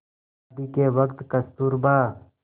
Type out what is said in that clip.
शादी के वक़्त कस्तूरबा